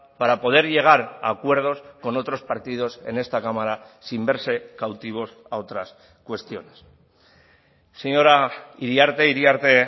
para poder llegar a acuerdos con otros partidos en esta cámara sin verse cautivos a otras cuestiones señora iriarte iriarte